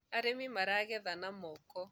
arĩmi maragetha na moko